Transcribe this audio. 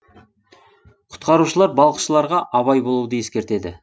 құтқарушылар балықшыларға абай болуды ескертеді